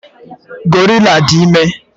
Gorilla dị ime.